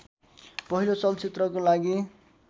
पहिलो चलचित्रको लागि